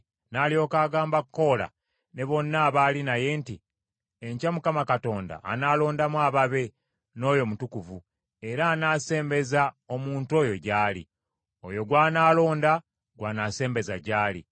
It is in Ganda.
N’alyoka agamba Koola ne bonna abaali naye nti, “Enkya Mukama Katonda anaalondamu ababe, n’oyo omutukuvu, era anaasembeza omuntu oyo gy’ali. Oyo gw’anaalonda gw’anaasembeza gy’ali.